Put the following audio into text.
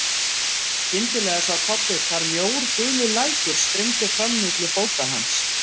Skyndilega sá Kobbi hvar mjór gulur lækur streymdi fram milli fóta hans.